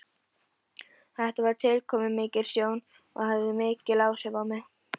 Þetta var tilkomumikil sjón og hafði mikil áhrif á mig.